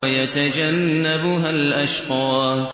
وَيَتَجَنَّبُهَا الْأَشْقَى